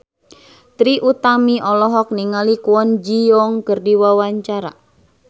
Trie Utami olohok ningali Kwon Ji Yong keur diwawancara